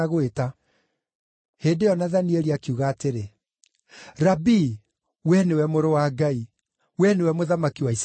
Hĩndĩ ĩyo Nathanieli akiuga atĩrĩ, “Rabii, wee nĩwe Mũrũ wa Ngai; wee nĩwe Mũthamaki wa Isiraeli.”